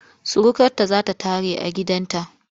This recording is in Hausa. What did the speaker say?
Surukarta za ta tare a gidanta.